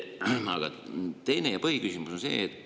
Aga teine ja põhiküsimus on see.